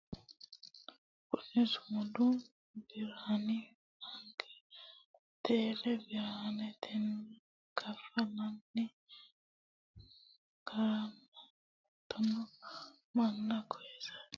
kuni sumudu biraani baanke tele birretenni kaffallanni garana hattono manna koyeense baraarsha afi'nanni gara kultanno borro iimaho noota ikkase xawissanno misileeti